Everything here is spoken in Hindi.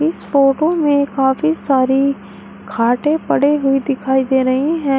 इस फोटो में काफी सारी खाटे पड़ी हुई दिखाई दे रही है।